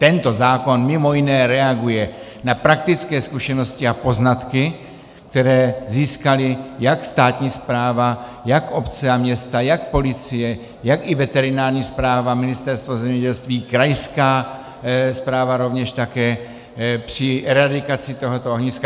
Tento zákon, mimo jiné, reaguje na praktické zkušenosti a poznatky, které získaly jak státní správa, jak obce a města, jak policie, tak i veterinární správa, Ministerstvo zemědělství, krajská správa rovněž také při eradikaci tohoto ohniska.